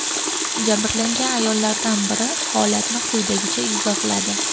Jabrlangan ayollardan biri holatni quyidagicha izohladi.